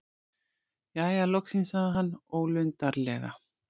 Jæja, loksins- sagði hann ólundarlega.